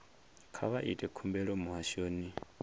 kha vha ite khumbelo muhashoni